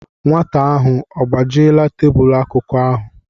Nwata ahụ ọ gbajiela tebụlụ akụkụ ahụ?